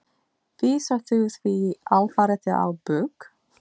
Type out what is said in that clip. Vísar þú því alfarið á bug?